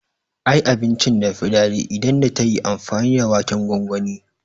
Ai abincin da yafi daɗi idan da tayi amfani da waken gongoni